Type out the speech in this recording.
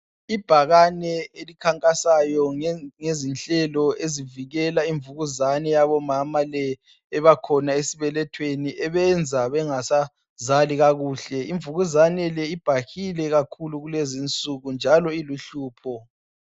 Ibhakane elikhankasayo ngezinhlelo ezivikela imvukuzane yabomama le ebakhona esibelethweni ebenza bengasazali kakuhle. Imvukuzane le ibhahile kakhulu kulezinsuku njalo iluhlupho.